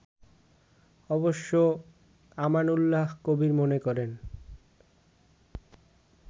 অবশ্য আমানউল্লাহ কবির মনে করেন